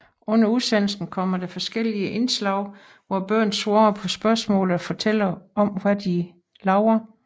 Under udsendelsen kommer der forskelige indslag hvor børn svare på spørgsmål og fortæller om hvad de laver